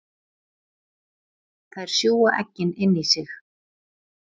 Þær sjúga eggin inn í sig.